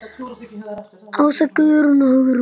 Ása, Guðrún og Hugrún.